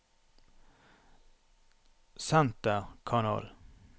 senterkanal